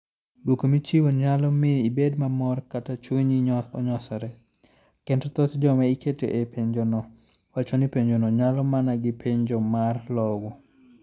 Dwoko michiwo nyalo miyo ibed mamor kata chunyi onyosre, kendo thoth joma iketo e penjono wacho ni penjono chalo mana gi penjo mar lowo.